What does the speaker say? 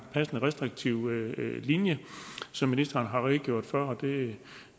passende restriktiv linje som ministeren har redegjort for og det